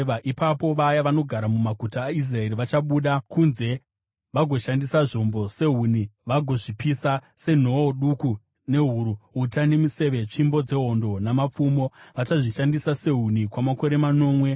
“ ‘Ipapo vaya vanogara mumaguta aIsraeri vachabuda kunze vagoshandisa zvombo sehuni vagozvipisa, senhoo duku nehuru, uta nemiseve, tsvimbo dzehondo namapfumo. Vachazvishandisa sehuni kwamakore manomwe.